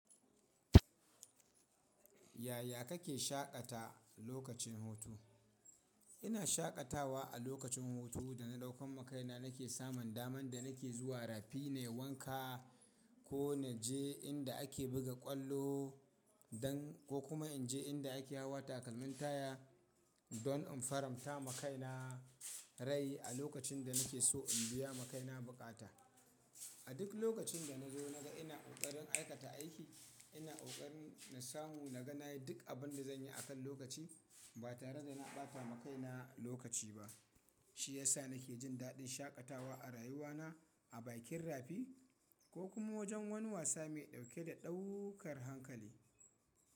Yaya kake shaƙata lokacin hutu? Ina shaƙatawa a lokacin hutu da na ɗaukan makai na, nake samun daman da nake zuwa rafi na yi wanka ko na je inda ake buga ƙwallo ko kuma in je inda ake hawa takalmin taya don in faranta makai na rai a lokacin da nake so in biya makai na buƙata. A duk lokacin da na zo na ga ina ƙoƙarin aikata aiki, ina ƙoƙarin na samu na ga na yi duk abin da zan yi akan lokaci ba tare da ina ɓata makai na lokaci ba, shi ya sa nake jin daɗin shaƙatawa a rayuwa na a bakin rafi ko kuma wajen wani wasa mai ɗauke da ɗaukar hankali.